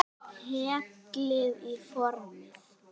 Hellið í formið.